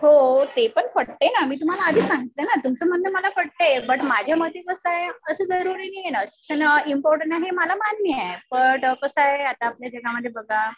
हो ते पण पटतंय ना. मी तुम्हाला आधीच सांगितलं तुमचं म्हणणं मला पटतंय. बट माझ्या मते कसं आहे असं जरुरी नाही ना. शिक्षण इम्पॉर्टन्ट आहे हे मला मान्य आहे. बट कसं आहे आता आपल्या जगामध्ये बघा